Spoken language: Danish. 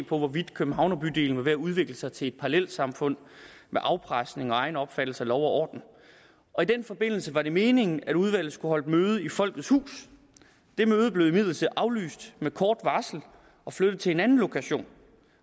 på hvorvidt københavnerbydelen var ved at udvikle sig til et parallelsamfund med afpresning og egen opfattelse af lov og orden og i den forbindelse var det meningen at udvalget skulle møde i folkets hus det møde blev imidlertid aflyst med kort varsel og flyttet til en anden lokation